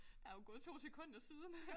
Der jo gået 2 sekunder siden